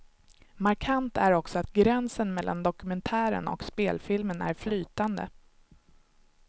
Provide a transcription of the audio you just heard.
Markant är också att gränsen mellan dokumentären och spelfilmen är flytande.